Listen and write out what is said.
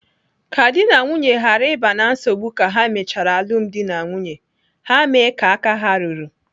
Ka dị na nwunye ghara ịba na nsogbu ka ha mechara alụmdi na nwunye, ha mee ka aka ha ruru.